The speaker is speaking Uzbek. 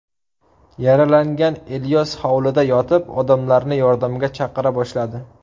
Yaralangan Ilyos hovlida yotib, odamlarni yordamga chaqira boshladi.